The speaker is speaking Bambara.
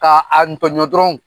K'a a tɔɲɔ dɔrɔn.